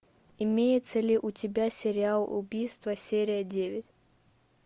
имеется ли у тебя сериал убийство серия девять